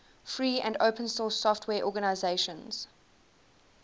free and open source software organizations